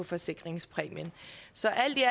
forsikringspræmien så alt i